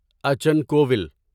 اچن کوول